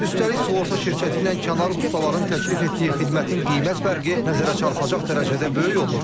Üstəlik sığorta şirkəti ilə kənar ustaların təklif etdiyi xidmətin qiymət fərqi nəzərə çarpacaq dərəcədə böyük olur.